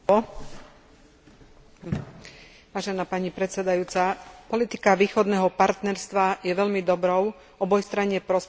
Politika východného partnerstva je veľmi dobrou, obojstranne prospešnou politikou pre šesť východoeurópskych štátov a EÚ.